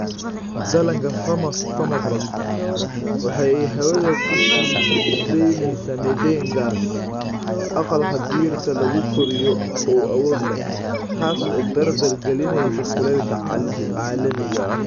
Dhallaanka permafrost waxa ay hawada ku sii daynaysaa methane, gaas aqalka dhirta lagu koriyo oo awood leh, taas oo dardar galinaysa kulaylka caalamiga ah.